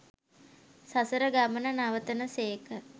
සසර ගමන නවතන සේක.